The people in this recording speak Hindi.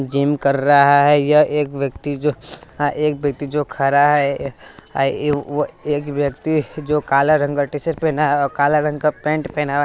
जिम कर रहा है यह एक व्यक्ति जो आ एक व्यक्ति जो खड़ा है ये वह एक व्यक्ति जो काला रंग का टी-शर्ट पेहना है काला रंग का पैंट पेहना है।